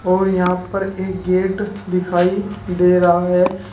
और यहां पर एक गेट दिखाई दे रहा है।